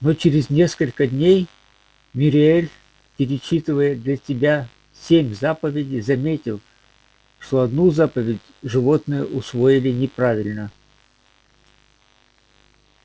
но через несколько дней мюриель перечитывая для тебя семь заповедей заметила что одну заповедь животные усвоили неправильно